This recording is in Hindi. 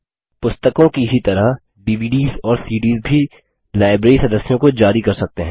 पुस्तकों की ही तरह डीवीडीएस और सीडीएस भी लाइब्रेरी सदस्यों को जारी कर सकते हैं